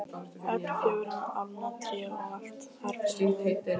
Öll fjögurra álna tré og allt þar fyrir neðan.